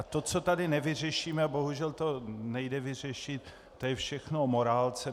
A to, co tady nevyřešíme, bohužel to nejde vyřešit, to je všechno o morálce.